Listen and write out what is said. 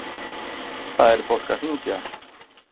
Það er fólk að hringja.